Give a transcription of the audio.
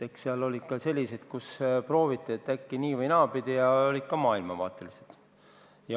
Eks seal oli ka selliseid, kus prooviti, et äkki nii- või naapidi, ja olid ka maailmavaatest tulenevad.